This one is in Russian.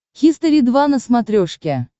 хистори два на смотрешке